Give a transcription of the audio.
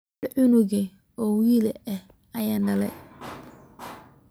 Xal cunug oo wiil eh ayan daley .